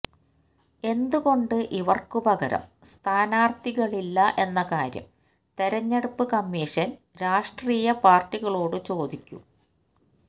എന്തുകൊണ്ട് ഇവര്ക്ക് പകരം സ്ഥാനാര്ത്ഥികളില്ലാ എന്ന കാര്യം തെരഞ്ഞെടുപ്പ് കമ്മീഷന് രാഷ്ട്രീയ പാര്ട്ടികളോട് ചോദിക്കും